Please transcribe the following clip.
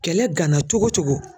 Kɛlɛ gana cogo cogo